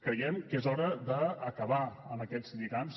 creiem que és hora d’acabar amb aquests lligams